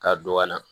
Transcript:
Ka don ka na